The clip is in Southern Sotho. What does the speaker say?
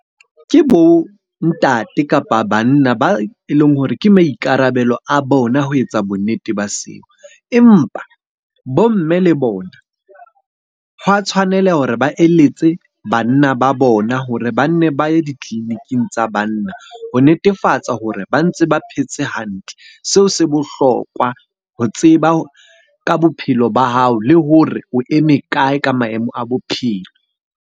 Ke bo ntate, kapa banna ba e leng hore ke maikarabelo a bona ho etsa bonnete ba seo. Empa bo mme le bona hwa tshwanela hore ba eletse banna ba bona hore ba nne ba ye ditleliniking tsa banna ho netefatsa hore ba ntse ba phetse hantle. Seo se bohlokwa ho tseba ka bophelo ba hao le hore o eme kae ka maemo a bophelo.